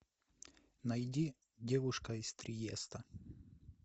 найди девушка из триеста